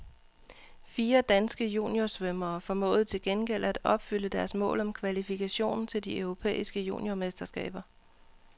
Fire danske juniorsvømmere formåede til gengæld at opfylde deres mål om kvalifikation til de europæiske juniormesterskaber.